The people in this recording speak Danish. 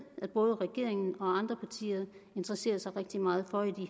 at både regeringen og andre partier interesserer sig rigtig meget for i